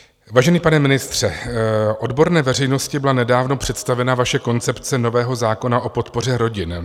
Vážený pane ministře, odborné veřejnosti byla nedávno představena vaše koncepce nového zákona o podpoře rodin.